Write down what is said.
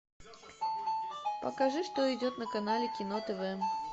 покажи что идет на канале кино тв